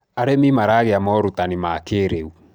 arĩmi maragia morutanĩ ma ũrĩmi wa kĩiriu